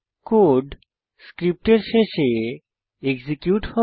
code স্ক্রিপ্টের শেষে execute হবে